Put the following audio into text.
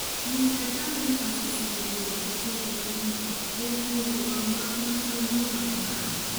Mr Trump ne osesingo golo "weche maricho" ewii weche go mag nonrojuma mokalo.